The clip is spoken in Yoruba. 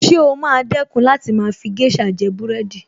Ṣé o máa dẹ̀kun láti máa fi géṣà jẹ búrẹ́dì